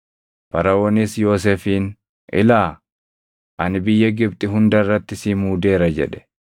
Faraʼoonis Yoosefiin, “Ilaa, ani biyya Gibxi hunda irratti si muudeera” jedhe.